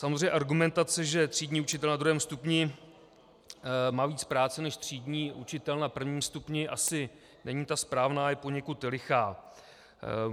Samozřejmě argumentace, že třídní učitel na druhém stupni má víc práce než třídní učitel na prvním stupni, asi není ta správná, je poněkud lichá.